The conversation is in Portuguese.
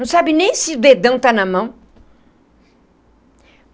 Não sabe nem se o dedão está na mão.